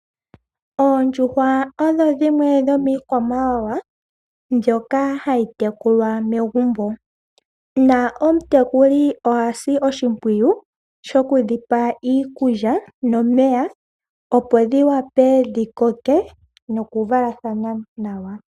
Oondjuhwa odho dhimwe dhomiikwamawawa mbyoka hayi tekulwa megumbo. Na omutekuli oha si oshimpwiyu shoku dhi pa iikulya nomeya opo dhi wape dhi koke, nokuvalathana nawa.